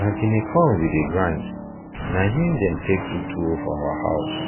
na guinea corn we dem grind na in dem take do tuwo for our house